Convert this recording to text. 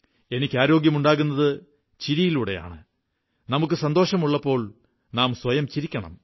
എനിക്ക് ആരോഗ്യമുണ്ടാകുന്നത് ചിരിയിലൂടെയാണ് നമുക്കു സന്തോഷമുള്ളപ്പോൾ നാം ചിരിക്കണം